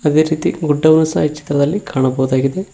ಅದೇ ರೀತಿ ಗುಡ್ಡವನ್ನು ಸಹ ಈ ಚಿತ್ರದಲ್ಲಿ ಕಾಣಬಹುದಾಗಿದೆ.